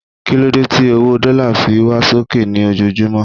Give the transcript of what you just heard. kílódé ti owó dọ́là fi ń wá sókè ní ojojumọ